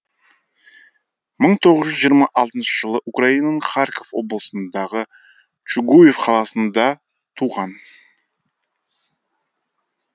мың тоғыз жүз жиырма алтыншы жылы украинаның харьков облысындағы чугуев қаласында туған